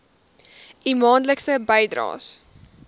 u maandelikse bydraes